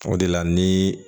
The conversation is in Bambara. O de la ni